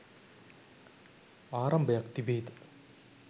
ආරම්භයක් තිබේ ද?